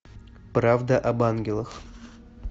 правда об ангелах